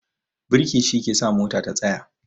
Birki shi ke sa mota ta tsaya